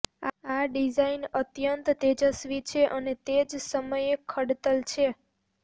આ ડિઝાઇન અત્યંત તેજસ્વી છે અને તે જ સમયે ખડતલ છે